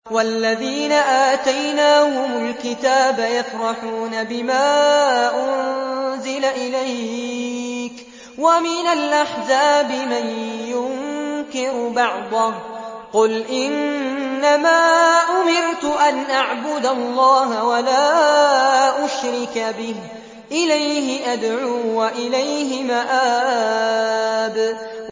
وَالَّذِينَ آتَيْنَاهُمُ الْكِتَابَ يَفْرَحُونَ بِمَا أُنزِلَ إِلَيْكَ ۖ وَمِنَ الْأَحْزَابِ مَن يُنكِرُ بَعْضَهُ ۚ قُلْ إِنَّمَا أُمِرْتُ أَنْ أَعْبُدَ اللَّهَ وَلَا أُشْرِكَ بِهِ ۚ إِلَيْهِ أَدْعُو وَإِلَيْهِ مَآبِ